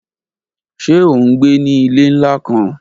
Ṣe o ngbe ni ile nla kan?